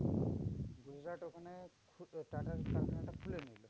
গুজরাট ওখানে টাটার কারখানাটা খুলে নিলো